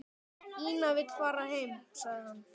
Ína vill fara heim, sagði hann.